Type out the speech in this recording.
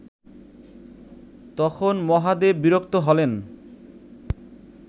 তখন মহাদেব বিরক্ত হলেন